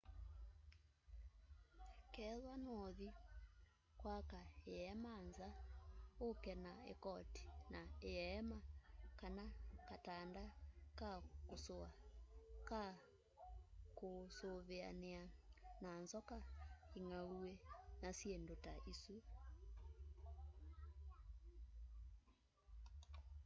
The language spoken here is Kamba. kethwa nûûthi kwaka îema nza ûke na îkoti ya îema kana katanda ka kûsûa ka kûûsûvîanîa na nzoka ingauwî na syîndû ta isu